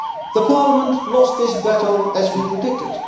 The Parliament lost this battle, as we predicted.